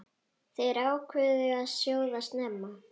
Þær ákváðu að sjóða snemma.